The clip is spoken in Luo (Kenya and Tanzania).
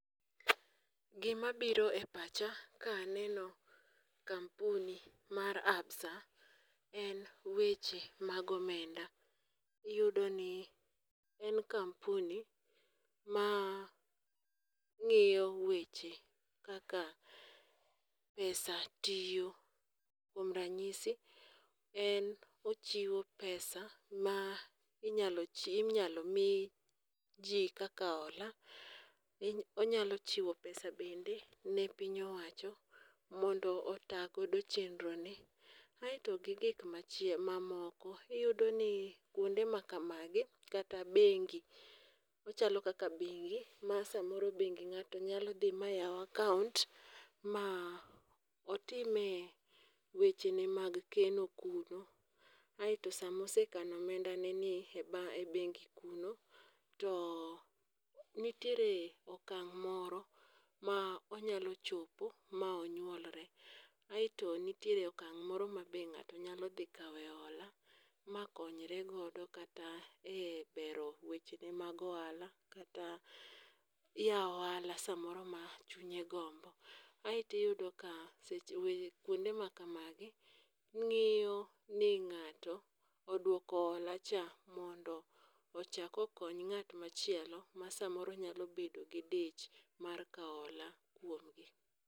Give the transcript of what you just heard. Gi ma biro e pacha ka aneno kampuni mar absa, en weche mag omenda. Iyudo ni en kampuni ma ngiyo weche kaka pesa tiyo. Kuom ranyisi en ochiwo pesa ma inyalo mi ji kaka ola, onyalo chiwo pesa bende ne piny owacho mondo ota go chendro ne. Ae to gi gigik ma moko iyudo ni kuonde ma kamagi kata bengi, ochalo kaka bengi ma samoro ngatio nyalo dhi ma yaw account ma otime weche ne mag keno kuno. Aato sama ose kano omenda ne ni e bengi kuno, to nitiere okang' moro ma onyalo chope ma onyuolre. Aeto nitiere okang' moro ma ng'ato nyalo dhi kawe ola ma konyre godo kata e bero wechene mag ohala, kata yawo ohala ne moro ma chunye gombo. Ae to iyudo ka kuonde maka magi ng'iyo ni ng'ato oduoko ola cha mondo ochak okony ng'at machielo ma samoro nyalo bedo gi dich mar kao ola kuomgi.